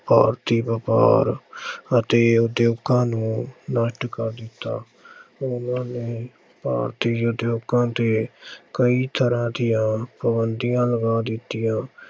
ਆਰਥਿਕ ਭਾਰ ਅਤੇ ਉਦਯੋਗਾਂ ਨੂੰ ਨਸ਼ਟ ਕਰ ਦਿੱਤਾ ਉਹਨਾਂ ਨੇ ਭਾਰਤੀ ਉਦਯੋਗਾਂ ਤੇ ਕਈ ਤਰ੍ਹਾਂ ਦੀਆਂ ਪਾਬੰਦੀਆਂ ਲਗਾ ਦਿੱਤੀਆਂ।